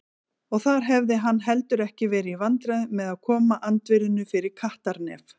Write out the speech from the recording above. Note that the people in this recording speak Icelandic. Og þar hefði hann heldur ekki verið í vandræðum með að koma andvirðinu fyrir kattarnef.